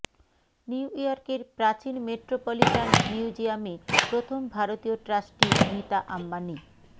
new ইয়র্কের প্রাচীন Metropolitan মিউজিয়ামে প্রথম ভারতীয় ট্রাস্টি নীতা আম্বানি